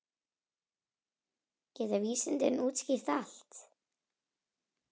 Geta vísindin útskýrt allt?